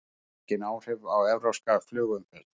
Engin áhrif á evrópska flugumferð